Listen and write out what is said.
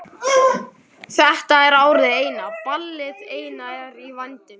Þetta er árið eina, ballið eina er í vændum.